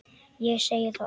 Ég segi það alveg satt.